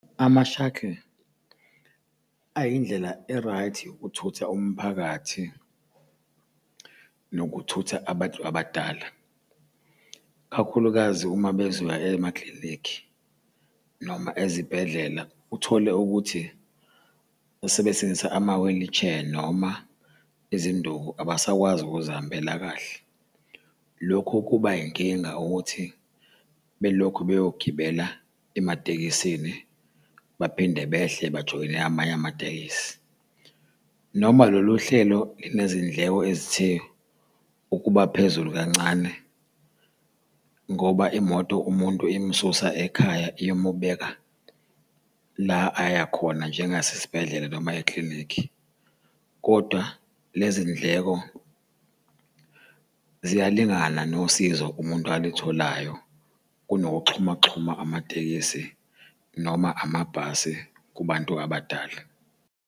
Ama-shuttle, ayindlela e-right yokuthutha umphakathi nokuthutha abantu abadala, kakhulukazi uma bezoya emaklinikhi noma ezibhedlela. Uthole ukuthi sebesebenzisa ama-wheelchair noma izinduku abasakwazi ukuzihambela kahle. Lokhu kuba yinkinga ukuthi belokhu bayogibela ematekisini baphinde behle bajoyine amanye amatekisi, noma lolu hlelo linezindleko ezithe ukuba phezulu kancane ngoba imoto umuntu imususa ekhaya iyomubeka la aya khona. Njengasesibhedlela noma ekilinikhi, kodwa lezi ndleko ziyalingana nosizo umuntu alitholayo kunokuxhumaxhuma amatekisi noma amabhasi kubantu abadala.